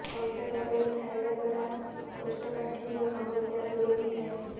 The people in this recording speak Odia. କଞ୍ଚା କଦଳୀ ଖାଇବା ଦ୍ବାରା କୋଷ୍ଠକାଠିନ୍ୟ ସମସ୍ୟା ଦୂର ହୋଇଥାଏ